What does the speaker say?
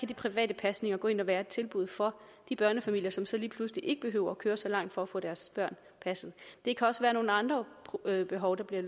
de private pasninger gå ind og være et tilbud for de børnefamilier som så lige pludselig ikke behøver køre så langt for at få deres børn passet det kan også være nogle andre behov der bliver